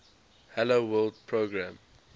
hello world program